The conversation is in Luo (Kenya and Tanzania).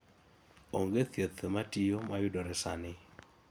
onge thieth matiyo mayudore sani